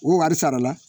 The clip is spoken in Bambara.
O wari sara la